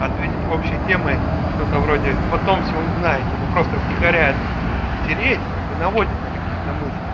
ответить общей темой что-то вроде потом все узнаете ну просто втихаря это тереть как бы наводит на какие-то мысли